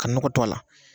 Ka nɔgɔ to a la